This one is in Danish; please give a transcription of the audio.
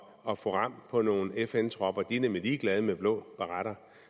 at få ram på nogle fn tropper de er nemlig ligeglade med blå baretter